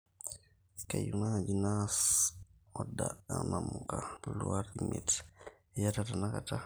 kayieu naaji naas oda o namuka luat imiet, iyatata tenakata